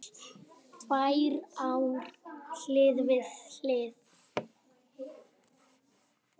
Tvær ár hlið við hlið